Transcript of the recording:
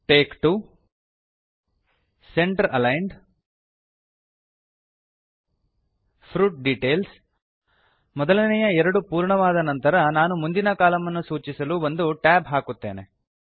take 2 centre aligned fruit details ಮೊದಲನೆಯ ಎರಡು ಪೂರ್ಣವಾದ ನಂತರ ನಾನು ಮುಂದಿನ ಕಾಲಂ ಅನ್ನು ಸೂಚಿಸಲು ಒಂದು tab ಹಾಕುತ್ತೇನೆ